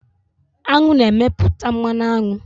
Aṅụ na-emepụta mmanụ aṅụ.